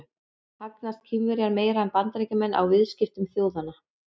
Hagnast Kínverjar meira en Bandaríkjamenn á viðskiptum þjóðanna?